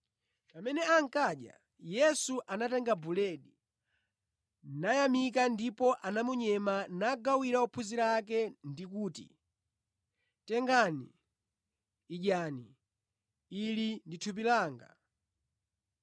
Pamene ankadya, Yesu anatenga buledi, nayamika ndipo anamunyema nagawira ophunzira ake nanena kuti, “Tengani, idyani; ili ndi thupi langa.”